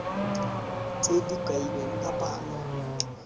tse di kailweng ka palo